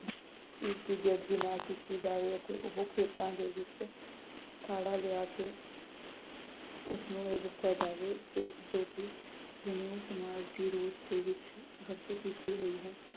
ਇਸ ਦੀ ਬੇਅਦਬੀ ਨਾ ਕੀਤੀ ਜਾਵੇ ਅਤੇ ਉਹ ਖੇਤਾਂ ਦੇ ਵਿਚ ਲਿਆ ਕੇ ਉਸਨੂੰ ਇਹ ਦਸਿਆ ਨਜਾਵੇ ਕੇ